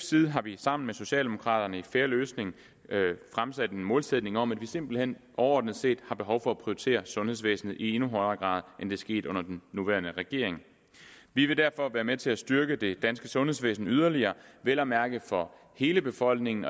side har vi sammen med socialdemokraterne i en fair løsning fremsat en målsætning om at vi simpelt hen overordnet set har behov for at prioritere sundhedsvæsenet i endnu højere grad end det er sket under den nuværende regering vi vil derfor være med til at styrke det danske sundhedsvæsen yderligere vel at mærke for hele befolkningen